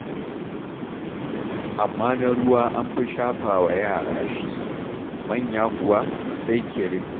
Amma na ruwa an fi shafawa yara shi, manya kuwa, sai kirim.